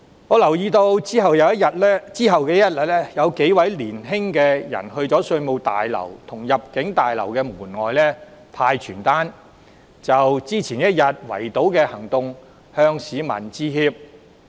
我留意到在翌日，數名年青人到灣仔稅務大樓及入境事務大樓門外派發傳單，就前一天的圍堵行動向市民致歉。